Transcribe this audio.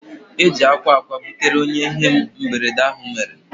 Eji akwa akwa butere onye ihe mberede ahụ mere